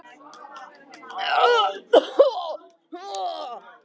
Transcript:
Þeir voru báðir hestamenn.